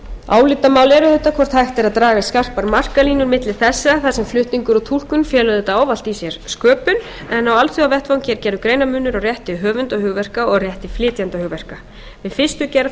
álitamál er auðvitað hvort hægt er að draga skarpar markalínur milli þessa þar sem flutningur og túlkun fela auðvitað ávallt í sér sköpun en á alþjóðavettvangi er gerður greinarmunur á rétti höfunda hugverka og rétti flytjenda hugverka við fyrstu gerð